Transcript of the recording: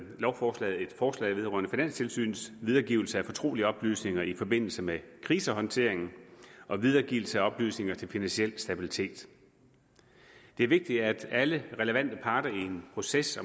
lovforslaget et forslag vedrørende finanstilsynets videregivelse af fortrolige oplysninger i forbindelse med krisehåndteringen og videregivelse af oplysninger til finansiel stabilitet det er vigtigt at alle relevante parter i en proces